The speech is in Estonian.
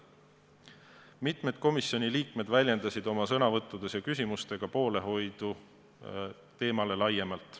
Mitmed komisjoni liikmed väljendasid oma sõnavõttudes ja küsimustes poolehoidu teemale laiemalt.